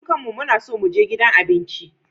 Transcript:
Dukanmu muna so mu je gidan abinci.